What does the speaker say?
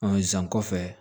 san kɔfɛ